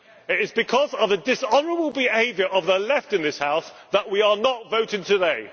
It is because of the dishonourable behaviour of the Left in this House that we are not voting today.